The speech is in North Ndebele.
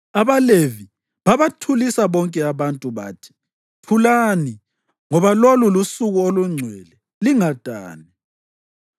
AbaLevi babathulisa bonke abantu, bathi, “Thulani, ngoba lolu lusuku olungcwele. Lingadani.”